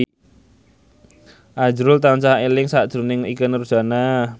azrul tansah eling sakjroning Ikke Nurjanah